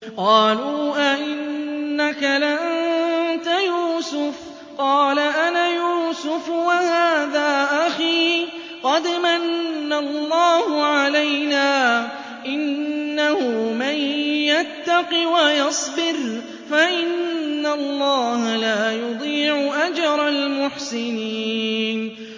قَالُوا أَإِنَّكَ لَأَنتَ يُوسُفُ ۖ قَالَ أَنَا يُوسُفُ وَهَٰذَا أَخِي ۖ قَدْ مَنَّ اللَّهُ عَلَيْنَا ۖ إِنَّهُ مَن يَتَّقِ وَيَصْبِرْ فَإِنَّ اللَّهَ لَا يُضِيعُ أَجْرَ الْمُحْسِنِينَ